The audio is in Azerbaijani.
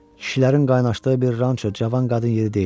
Kişilərin qaynaşdığı bir ranço cavan qadın yeri deyil.